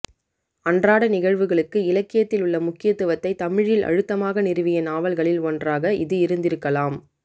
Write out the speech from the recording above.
அன்றாடநிகழ்வுகளுக்கு இலக்கியத்தில் உள்ள முக்கியத்துவத்தைத் தமிழில் அழுத்தமாக நிறுவிய நாவல்களில் ஒன்றாக இது இருந்திருக்கலாம்